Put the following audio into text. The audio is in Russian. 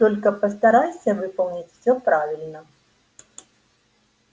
только постарайся выполнить всё правильно